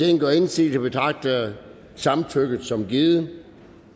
ingen gør indsigelse betragter jeg samtykket som givet